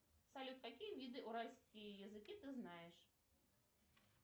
салют какие виды уральские языки ты знаешь